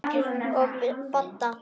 Og Badda.